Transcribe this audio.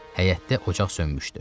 Həyətdə ocaq sönmüşdü.